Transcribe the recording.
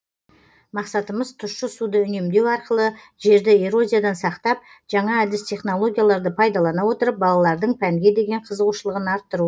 мақсатымыз тұщы суды үнемдеу арқылы жерді эрозиядан сақтап жаңа әдіс технологияларды пайдалана отырып балалардың пәнге деген қызығушылығын арттыру